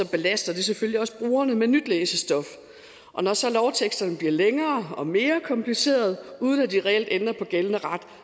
belaster det selvfølgelig også brugerne med nyt læsestof og når så lovteksterne bliver længere og mere komplicerede uden at de reelt ændrer på gældende ret